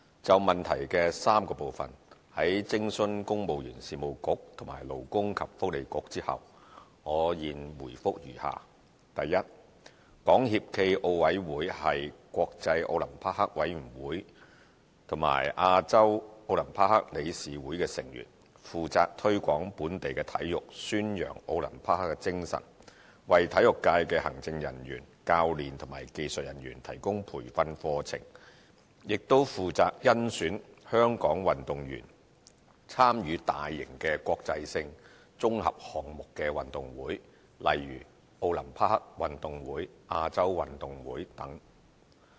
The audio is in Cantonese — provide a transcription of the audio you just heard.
就質詢的3個部分，在徵詢公務員事務局和勞工及福利局後，我現回覆如下：一港協暨奧委會是國際奧林匹克委員會和亞洲奧林匹克理事會的成員，負責推廣本地體育，宣揚奧林匹克精神，為體育界的行政人員、教練及技術人員提供培訓課程，亦負責甄選香港運動員參與大型國際性綜合項目運動會，例如奧林匹克運動會、亞洲運動會等。